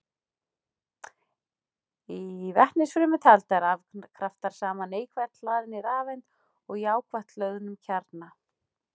Í vetnisfrumeind halda rafkraftar saman neikvætt hlaðinni rafeind og jákvætt hlöðnum kjarna.